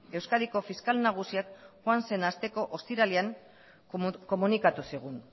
euskadiko fiskal nagusiak joan zen asteko ostiralean komunikatu zigun